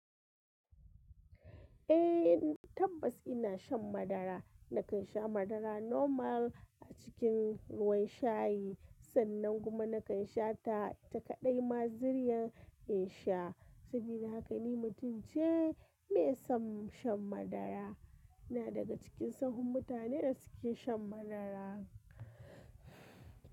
Eh, tabbas ina shan madara. Nakan sha madara normal a cikin ruwan shayi, sannan kuma nakan sha ita kai ɗai ma ziryan in sha. Sabida haka ni mutum ce mai son shan madara. Ina daga cikin sahun mutanen da suke shan madara.